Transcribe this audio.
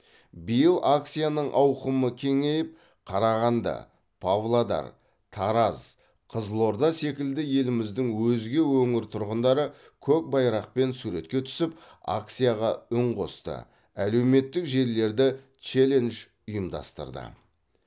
биыл акцияның ауқымы кеңейіп қарағанды павлодар тараз қызылорда секілді еліміздің өзге өңір тұрғындары көк байрақпен суретке түсіп акцияға үн қосты әлеуметтік желілерде челлендж ұйымдастырды